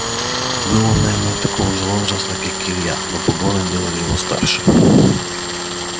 был он наверное такого же возраста как и илья но погоны делали его старше